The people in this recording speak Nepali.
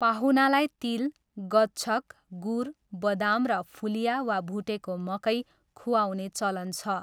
पाहुनालाई तिल, गच्छक, गुर, बदाम र फुलिया वा भुटेको मकै खुवाउने चलन छ।